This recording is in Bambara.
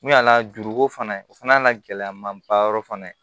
N'u y'a lajuruko fana o fana y'a gɛlɛya maba yɔrɔ fana ye